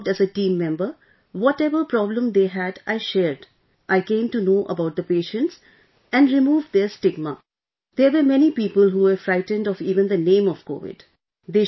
I worked as a team member... whatever problem they had... I shared, I came to know about the patients and removed their stigma, there were many people who were frightened of even the name of Covid